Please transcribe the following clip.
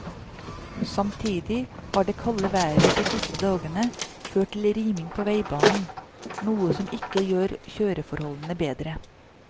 Samtidig har det kalde været de siste dagene ført til riming på veibanen, noe som ikke gjør kjøreforholdene bedre.